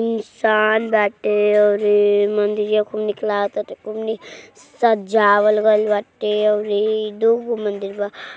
इंसान बाटे और ये मंदिरिया खूब निक लागताटे खूब निक सजावल गैल बाटे और इ दूगो मंदिर बा।